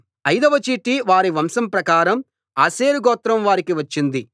అయిదవ చీటి వారి వంశం ప్రకారం ఆషేరు గోత్రం వారికి వచ్చింది